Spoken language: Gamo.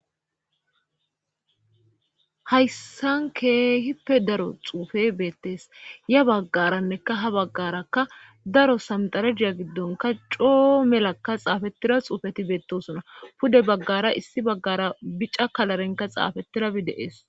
hayssan keehippe daro xuufe beettees ya baggaranneka ha baggarakka daro samdarediya giddonka coo melakka xaafetira xuufeti beettosona pude baggara issi baggara bica kalarenka xaafetirabi deees